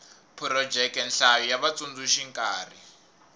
phurojeke nhlayo ya vatsundzuxi nkarhi